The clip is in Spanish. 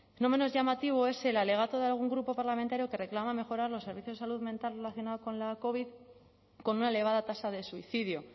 no menos llamativo es el alegato de algún grupo parlamentario que reclama mejorar los servicios de salud mental relacionando la covid con una elevada tasa de suicidio